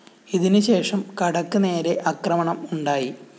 ഇതിന് ശേഷം കടക്ക് നേരെ ആക്രമണം ഉണ്ടായി